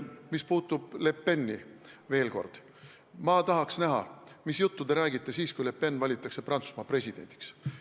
Mis puutub Le Peni, siis veel kord, ma tahaks näha, mis juttu te räägite siis, kui Le Pen valitakse Prantsusmaa presidendiks.